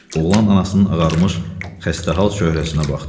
Oğlan anasının ağarmış, xəstəhal çöhrəsinə baxdı.